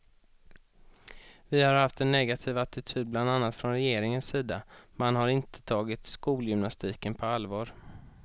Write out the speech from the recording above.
Vi har haft en negativ attityd bland annat från regeringens sida, man har inte tagit skolgymnastiken på allvar.